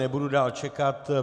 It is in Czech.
Nebudu dál čekat.